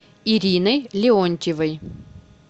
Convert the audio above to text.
ириной леонтьевой